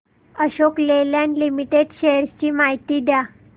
Ashok Leyland limited shares ची माहिती द्या